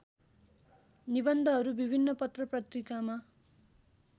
निबन्धहरू विभिन्न पत्रपत्रिकामा